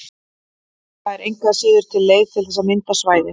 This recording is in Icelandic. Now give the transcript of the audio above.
Það er engu að síður til leið til þess að mynda svæðin.